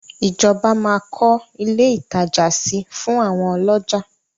Ìjọba máa kọ́ ilé ìtajà si fún àwọn ọlọ́jà.